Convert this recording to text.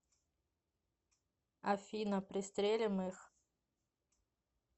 афина пристрелим их